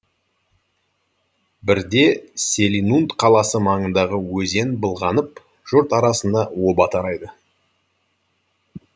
бірде селинунт қаласы маңындағы өзен былғанып жұрт арасында оба тарайды